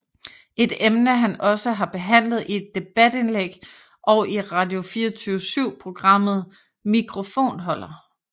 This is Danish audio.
Et emne han også har behandlet i debatindlæg og i Radio24Syv programmet Mikrofonholder